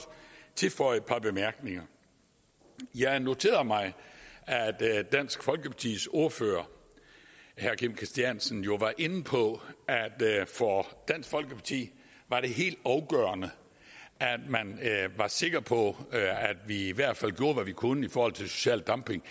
tilføje et par bemærkninger jeg noterede mig at dansk folkepartis ordfører herre kim christiansen jo var inde på at for dansk folkeparti var det helt afgørende at man var sikker på at vi i hvert fald gjorde hvad vi kunne i forhold til social dumping